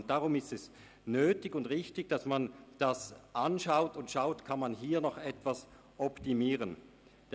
Deshalb ist es nötig und richtig, dass darauf geachtet wird, was optimiert werden kann.